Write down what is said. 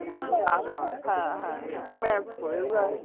হ্যাঁ হ্যাঁ হ্যাঁ হ্যাঁ match করে যাই